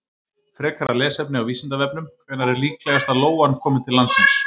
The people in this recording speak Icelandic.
Frekara lesefni á Vísindavefnum: Hvenær er líklegast að lóan komi til landsins?